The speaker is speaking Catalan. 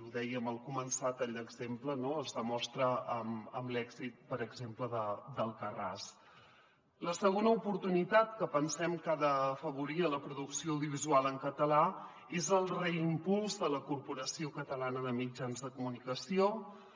ho dèiem al començar a tall d’exemple no es demostra amb l’èxit per exemple d’la segona oportunitat que pensem que ha d’afavorir la producció audiovisual en català és el reimpuls de la corporació catalana de mitjans audiovisuals